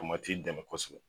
dɛmɛ kosɛbɛ